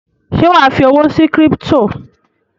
Ṣé wà á fi owó sí kírípítò?